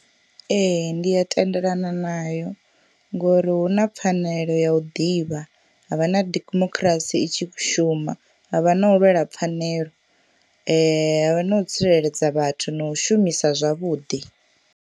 Ee ndi a tendelana nayo ngori hu na pfanelo ya u ḓivha havha na demokhirasi itshi shuma havha na u lwela pfhanelo havha na u tsireledza vhathu na u shumisa zwavhuḓi.